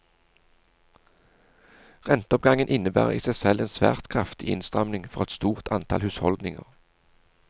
Renteoppgangen innebærer i seg selv en svært kraftig innstramning for et stort antall husholdninger.